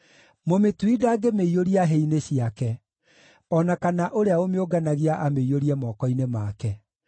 mũmĩtui ndangĩmĩiyũria hĩ-inĩ ciake, o na kana ũrĩa ũmĩũnganagia amĩiyũrie moko-inĩ make.